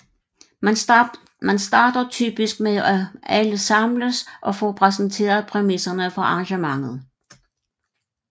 Man starter typisk med at alle samles og får præsenteret præmisserne for arrangementet